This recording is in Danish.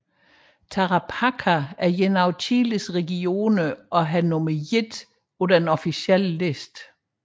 Tarapacá er en af Chiles regioner og har nummer I på den officielle liste